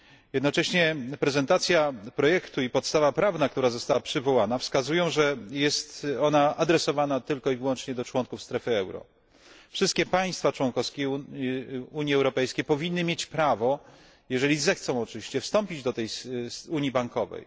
Jednocześnie prezentacja projektu i podstawa prawna, która została przywołana, wskazują, że jest ona adresowana tylko i wyłącznie do członków strefy euro. Wszystkie państwa członkowskie Unii Europejskiej powinny mieć prawo, jeżeli zechcą, oczywiście, wstąpić do tej unii bankowej.